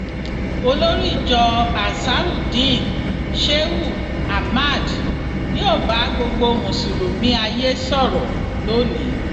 olórí ìjọ ansarudeen shehu ahmad yóò bá gbogbo mùsùlùmí ayé sọrọ lọni